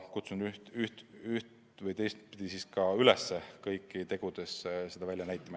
Kutsungi kõiki tegudes seda välja näitama.